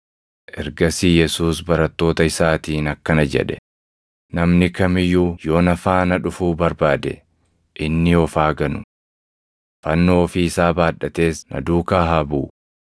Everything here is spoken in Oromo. Ergasii Yesuus barattoota isaatiin akkana jedhe; “Namni kam iyyuu yoo na faana dhufuu barbaade, inni of haa ganu. Fannoo ofii isaa baadhatees na duukaa haa buʼu.